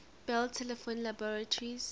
bell telephone laboratories